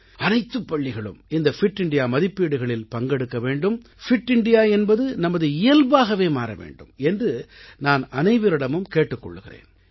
அனைத்துப் பள்ளிகளும் இந்த பிட் இந்தியா மதிப்பீடுகளில் பங்கெடுக்க வேண்டும் பிட் இந்தியா என்பது நமது இயல்பாகவே மாற வேண்டும் என்று நான் அனைவரிடமும் கேட்டுக் கொள்கிறேன்